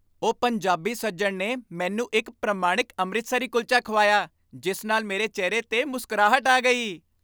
ਉਹ ਪੰਜਾਬੀ ਸੱਜਣ ਨੇ ਮੈਨੂੰ ਇੱਕ ਪ੍ਰਮਾਣਿਕ ਅੰਮ੍ਰਿਤਸਰੀ ਕੁਲਚਾ ਖਵਾਇਆ ਜਿਸ ਨਾਲ ਮੇਰੇ ਚਿਹਰੇ 'ਤੇ ਮੁਸਕਰਾਹਟ ਆ ਗਈ।